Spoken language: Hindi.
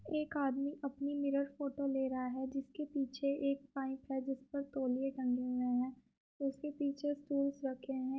एक आदमी अपनी मिरर फोटो ले रहा है जिसके पीछे एक पाइप है जिस पर तोलिए टंगे हुए हैं उसके पीछे स्टूलस रखे हैं।